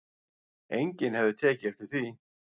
Enginn hefði tekið eftir því